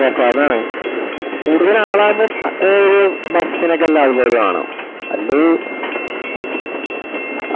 രസ അതാണ് കൂടുതല് ആളാമ്ബോ ഏ ഒര് ബസിനൊക്കെ ആൾക്കാര് കാണും. അല്ലേൽ